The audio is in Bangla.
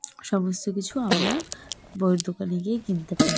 সমস্ত কিছু আমরা বইয়ের দোকানে গিয়ে কিনতে পাই।